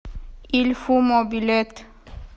ильфумо билет